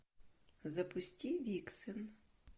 запусти виксен